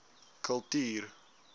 kultuur